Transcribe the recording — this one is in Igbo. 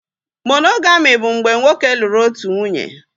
Monogami bụ mgbe nwoke lụrụ otu nwunye